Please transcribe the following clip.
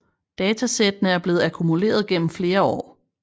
Datasættene er blevet akkumuleret gennem flere år